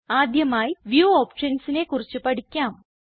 ആദ്യമായി വ്യൂ optionsനെ കുറിച്ച് പഠിക്കാം